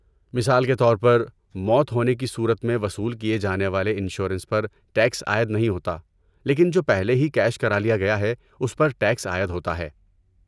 مثال کے طور پر، موت ہونے کی صورت میں وصول کیے جانے والے انشورنس پر ٹیکس عائد نہیں ہوتا، لیکن جو پہلے ہی کیش کرالیا گیا ہے اس پر ٹیکس عائد ہوتا ہے۔